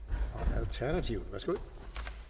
alternativet værsgo